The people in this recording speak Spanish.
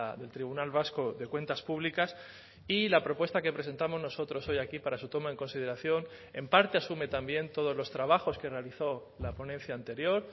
del tribunal vasco de cuentas públicas y la propuesta que presentamos nosotros hoy aquí para su toma en consideración en parte asume también todos los trabajos que realizó la ponencia anterior